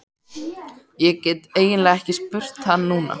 Ég get eiginlega ekki spurt hann núna.